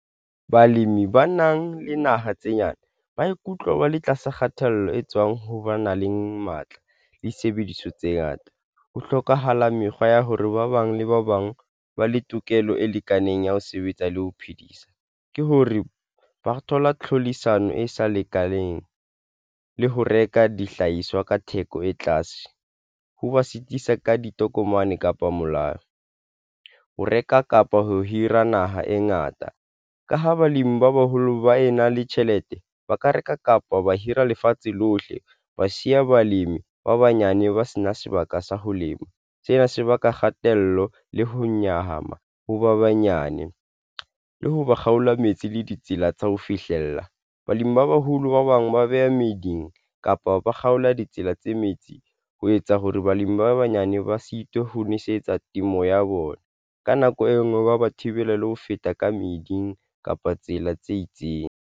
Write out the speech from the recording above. Balemi ba nang le naha tse nyane ba ikutlwa ba le tlasa kgatello e tswang ho ba na le matla le disebediso tse ngata. Ho hlokahala mekgwa ya hore ba bang le ba bang ba le tokelo e lekaneng ya ho sebetsa le ho phedisa ke hore ba thola tlhodisano e sa lekaneng le ho reka dihlahiswa ka theko e tlase. Ho ba sitisa ka ditokomane kapa molao, ho reka kapa ho hira naha e ngata ka ho balimi ba baholo ba e na le tjhelete, ba ka reka kapa ba hira lefatshe lohle ba siya balemi ba banyane ba sena sebaka sa ho lema sena se baka kgatello le ho nyahama, ho ba banyane le ho ba kgaola metsi le ditsela tsa ho fihlella balemi ba baholo ba bang ba beha meeding kapa ba kgaola ditsela tse metsi ho etsa hore balemi ba banyane ba sitwe ho nwesetsa temo ya bona ka nako e nngwe ba ba thibela le ho feta ka meeding kapa tsela tse itseng.